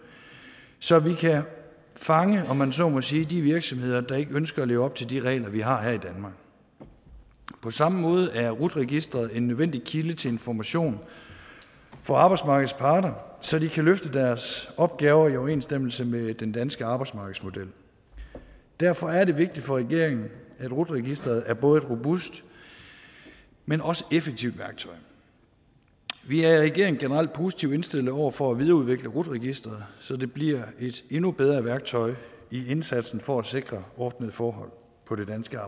så vi kan fange om man så må sige de virksomheder der ikke ønsker at leve op til de regler vi har her i danmark på samme måde er rut registeret en nødvendig kilde til information for arbejdsmarkedets parter så de kan løfte deres opgaver i overensstemmelse med den danske arbejdsmarkedsmodel og derfor er det vigtigt for regeringen at rut registeret er et både robust men også effektivt værktøj vi er i regeringen generelt positivt indstillet over for at videreudvikle rut registeret så det bliver et endnu bedre værktøj i indsatsen for at sikre ordnede forhold på det danske